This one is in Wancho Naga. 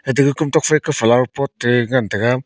ateke komtok faika flower pot te ngan taiga.